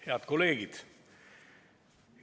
Head kolleegid!